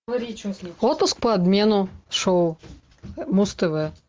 отпуск по обмену шоу муз тв